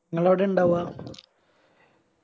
ഇങ്ങളെവിടെയ ഇണ്ടവ